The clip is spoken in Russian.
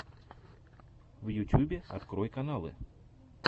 в ютюбе открой каналы